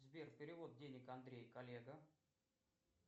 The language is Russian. сбер перевод денег андрей коллега